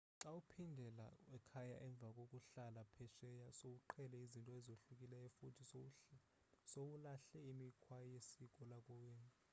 xa uphindela ekhaya emva kokuhlala phesheya sowuqhele izinto ezohlukileyo futhi sowulahle imikhwa yesiko lakowenu